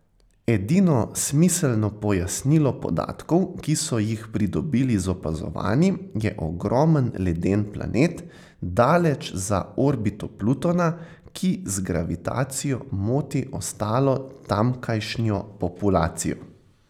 Edino smiselno pojasnilo podatkov, ki so jih pridobili z opazovanji, je ogromen, leden planet, daleč za orbito Plutona, ki z gravitacijo moti ostalo tamkajšnjo populacijo.